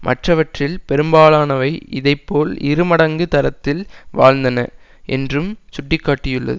மற்றவற்றில் பெரும்பலானவை இதைப்போல் இருமடங்கு தரத்தில் வாழ்ந்தன என்றும் சுட்டி காட்டியுள்ளது